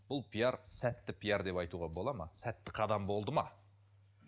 бұл пиар сәтті пиар деп айтуға болады ма сәтті қалам болды ма